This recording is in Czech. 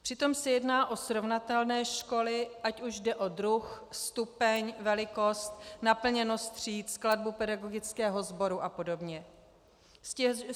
Přitom se jedná o srovnatelné školy, ať už jde o druh, stupeň, velikost, naplněnost tříd, skladbu pedagogického sboru a podobně.